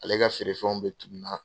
Ale ka feere fɛnw bɛ tunu na.